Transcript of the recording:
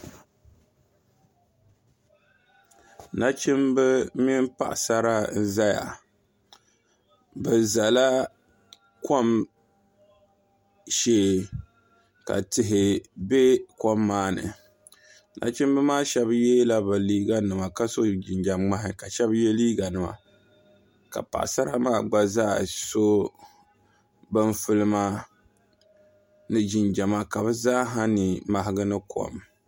nachimba mini paɣisara n-zaya bɛ zala kom shee ka tihi be kom maa ni nachimba maa shɛba yeela bɛ liiganima ka so jinjam' ŋmahi ka shɛba ye liiganima ka paɣisara maa gba zaa so bin' fulima ni jinjama ka bɛ zaa ha ni mahigi ni kom